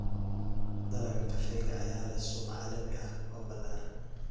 Dalagga kafeega ayaa leh suuq caalami ah oo ballaaran.